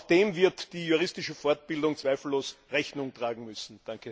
Auch dem wird die juristische Fortbildung zweifellos Rechnung tragen müssen.